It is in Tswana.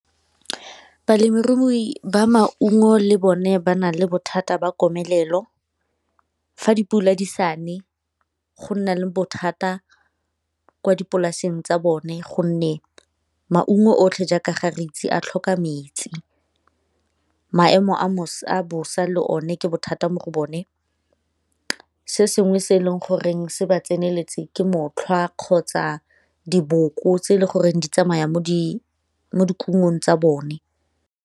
Balemirui ba maungo le bone ba na le bothata ba komelelo fa dipula di sa ne, go nna le bothata kwa dipolaseng tsa bone gonne maungo otlhe jaaka ga re itse a tlhoka metsi, maemo a bosa le one ke bothata mo go bone se sengwe se e leng goreng se ba tseneletse ke motlhwa kgotsa diboko tse e le goreng di tsamaya mo dikumong tsa bone.